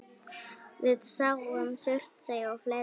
Við sáum Surtsey og fleira.